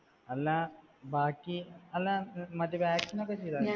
അല്ല ബാക്കി. അല്ല മറ്റേ vaccine ഒക്കെ ചെയ്തായിരുന്നോ